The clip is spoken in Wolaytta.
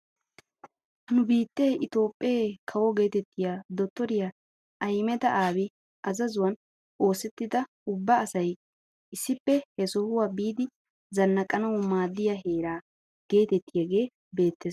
Nu biittee itoophphee kawo getettiyaa dottoriyaa ahimeda aabi azazuwaan oosettida ubba asay issippe he sohuwaa biidi zannaqanawu maaddiyaa heeraa getettiyaagee beettees.